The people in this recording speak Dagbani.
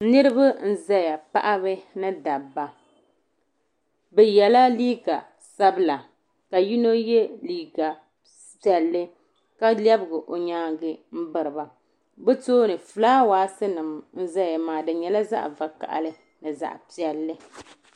Niriba n zaya paɣiba ni dabba bi yiɛla liiga sabila ka yino yiɛ liiga piɛlli ka lɛbgi o yɛangi m biri ba bi tooni flawasi nim n zaya maa di yɛla zaɣi vakahili zaɣi piɛlli.